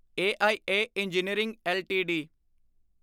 AIA engineering LTD